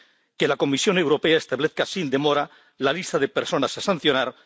que la Comisión Europea establezca sin demora la lista de personas a sancionar